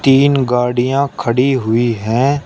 तीन गाड़ियां खड़ी हुई हैं।